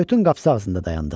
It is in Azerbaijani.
Kayutun qapsı ağzında dayandıq.